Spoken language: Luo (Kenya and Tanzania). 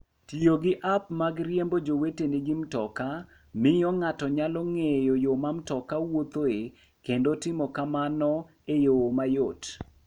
Tiyo gi app mag riembo joweteni gi mtoka miyo ng'ato nyalo ng'eyo yo ma mtoka wuothoe kendo timo kamano e yo mayot.